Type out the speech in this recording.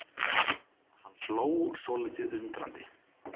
Hann hló svolítið undrandi.